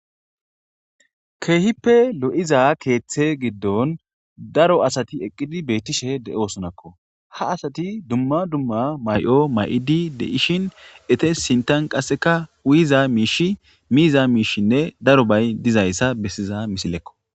Keehippe lo7iza keeththe giddon daro asati eqqidi beettishe de7osonakko ha asati dumma dumma may7o may7idi deishin ete sintan qasseka uyiza miish miiza miishinne daro bay dizayssa bessiza misilekko.